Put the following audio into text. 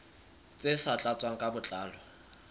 tse sa tlatswang ka botlalo